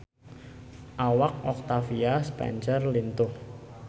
Awak Octavia Spencer lintuh